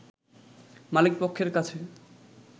মালিকপক্ষের কাছে